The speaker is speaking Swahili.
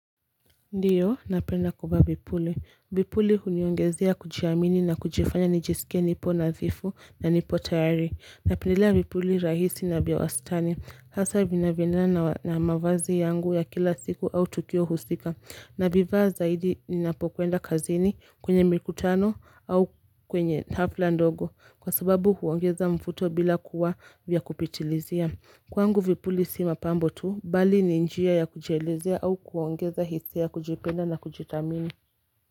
Ndiyo, napenda kuvaa vipuli. Vipuli huniongezea kujiamini na kujifanya nijisikie nipo nadhifu na nipo tayari. Napendelea vipuli rahisi na vya wastani. Hasa vinavyoendana nawa na mavazi yangu ya kila siku au tukio husika. Navivaa zaidi ninapokwenda kazini kwenye mikutano au kwenye hafla ndogo kwa sababu huongeza mvuto bila kuwa vya kupitilizia. Kwangu vipuli si mapambo tu, bali ni njia ya kujielezea au kuongeza hisia ya kujipenda na kujithamini.